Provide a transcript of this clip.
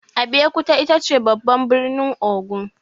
Abeokuta itace babban birnin Ogun.